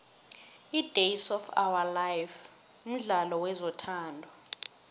idays of ourlife mdlalo wezothando